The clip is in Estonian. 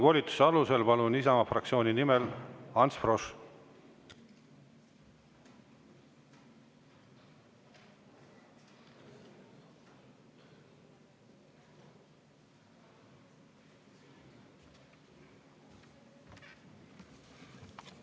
Volituse alusel Isamaa fraktsiooni nimel, palun, Ants Frosch!